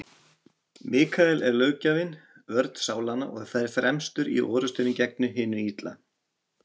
Mikael er löggjafinn, vörn sálanna, og fer fremstur í orrustunni gegn hinu illa.